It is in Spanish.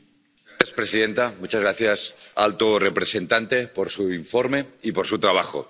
Señora presidenta, muchas gracias, alto representante, por su informe y por su trabajo.